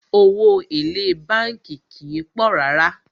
Owó èlé bánkì kìí pọ̀ rárá.